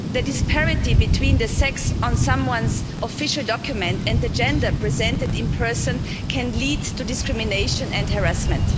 The disparity between the sex on someone's official document and the gender presented in person can lead to discrimination and harassment.